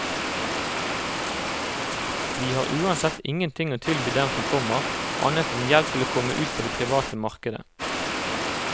Vi har uansett ingenting å tilby dem som kommer, annet enn hjelp til å komme ut på det private markedet.